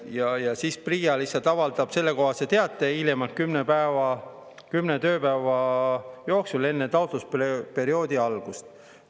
Ja siis PRIA lihtsalt avaldab sellekohase teate hiljemalt kümme tööpäeva enne taotlusperioodi algust.